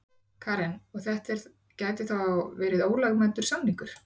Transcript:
Karen: Og, þetta gæti þá verið ólögmætur samningur?